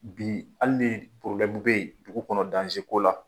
Bi hali ni bɛ yen dugu kɔnɔ ko la